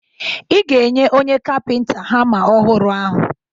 Ị ga-enye onye kapịnta hama ọhụrụ ahụ